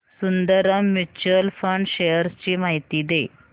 Sundaram mutual fund shares ची माहिती दे